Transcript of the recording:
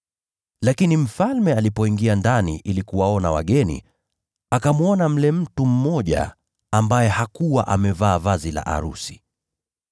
“Lakini mfalme alipoingia ndani ili kuwaona wageni, akamwona mle mtu mmoja ambaye hakuwa amevaa vazi la arusi.